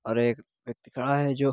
और एक व्यक्ति खड़ा है जो --